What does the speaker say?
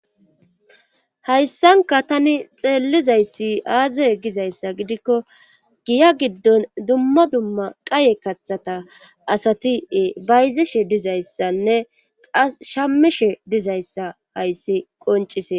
Hayssanka tani xeellizayssi aaze gizayssa gidikko giya giddon dumma dumma qaye kathata asati bayzeshe dizayssanne ashamishe dizayssa hayssi qoncise.